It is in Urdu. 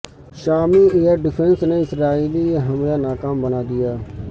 شامی ائیر ڈیفنس نے اسرائیلی حملہ ناکام بنا دیا